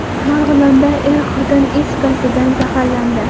Marg‘ilonda er-xotin is gazidan zaharlandi.